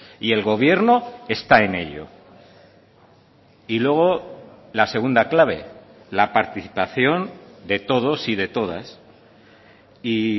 y el gobierno está en ello y luego la segunda clave la participación de todos y de todas y